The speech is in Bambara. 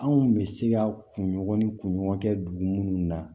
Anw bɛ se ka kunɲɔgɔn ni kunɲɔgɔn kɛ dugu munnu na